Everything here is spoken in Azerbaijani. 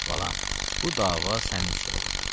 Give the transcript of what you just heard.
valam, bu dava sənin üstə olub.